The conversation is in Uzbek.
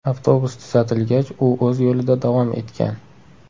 Avtobus tuzatilgach, u o‘z yo‘lida davom etgan.